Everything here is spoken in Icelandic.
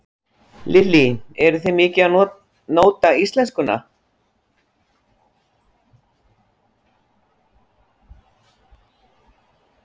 Lillý: Eruð þið mikið að nóta íslenskuna?